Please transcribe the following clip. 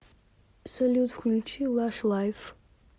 салют включи лаш лайф